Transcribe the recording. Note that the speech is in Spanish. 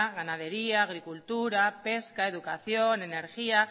ganadería agricultura pesca educación energía